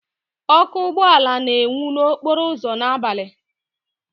Ọkụ ụgbọ ala na-enwu n'okporo ụzọ n'abalị.